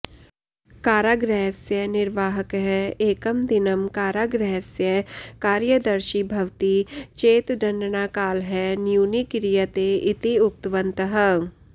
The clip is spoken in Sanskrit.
कारागृहस्य निर्वाहकः एकं दिनं कारागृहस्य कार्यदर्शी भवति चेत् दण्डनाकालः न्यूनी क्रियते इति उक्तवन्तः